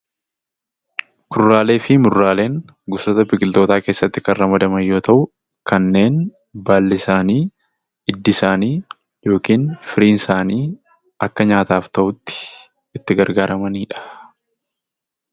Kuduraalee fi muduraaleen gosoota biqiltootaa keessatti kan ramadaman yoo ta'u, kanneen baalli isaanii, hiddi isaanii yookiin firiin isaanii akka nyaataaf ta'utti itti gargaaramanii dha.